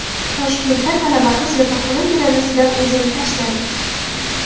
Toshkentda talaba qiz yotoqxona derazasidan o‘zini tashladi.